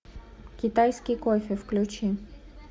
китайский кофе включи